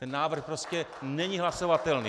Ten návrh prostě není hlasovatelný.